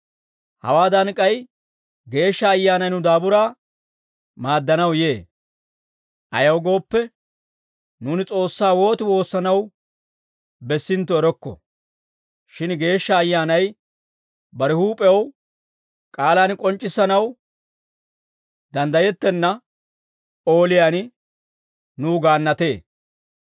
Hawaadan k'ay Geeshsha Ayyaanay nu daaburaa maaddanaw yee; ayaw gooppe, nuuni S'oossaa wooti woossanaw bessintto erokko; shin Geeshsha Ayyaanay bare huup'ew k'aalaan k'onc'c'issanaw danddayettenna ooliyaan nuw gaannatee.